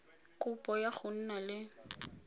kopo ya go nna le